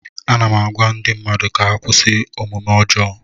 Ana m agwa ndị mmadụ ka ha kwụsị omume ọjọọ